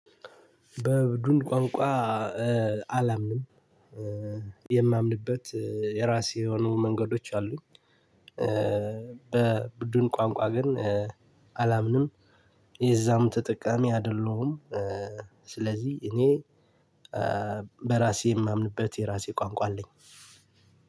በቡድን ቋንቋ አላምንም፤ የማምንበት የራሴ የሆኑ መንገዶች አሉኝ። በቡድን ቋንቋ ግን አላምንም፤ የዛም ተጠቃሚ አይደለሁም። ስለዚህ እኔ በራሴ የማምንበት የራሴ ቋንቋ አለኝ።